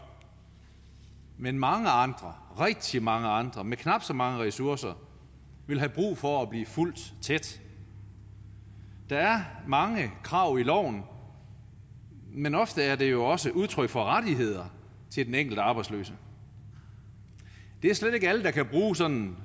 men mange andre rigtig mange andre med knap så mange ressourcer vil have brug for at blive fulgt tæt der er mange krav i loven men ofte er det jo også et udtryk for rettigheder til den enkelte arbejdsløse det er slet ikke alle der kan bruge sådan